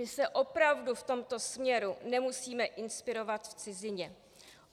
My se opravdu v tomto směru nemusíme inspirovat v cizině.